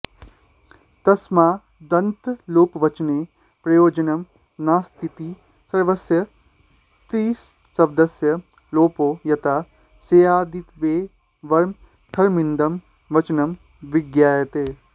तस्मादन्त्यलोपवचने प्रयोजनं नास्तीति सर्वस्य तृशब्दस्य लोपो यता स्यादित्येवमर्थमिदं वचनं विज्ञायते